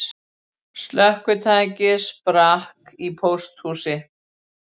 Slökkvitæki sprakk í pósthúsi